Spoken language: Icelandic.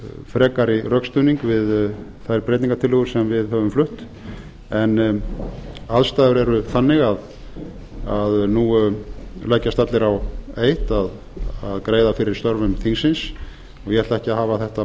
frekari rökstuðning við þær breytingartillögur sem við höfum flutt en aðstæður eru þannig að nú leggjast allir á eitt að greiða fyrir störfum þingsins og ég ætla ekki að hafa þetta